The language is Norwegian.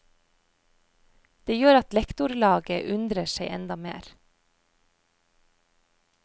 Det gjør at lektorlaget undrer seg enda mer.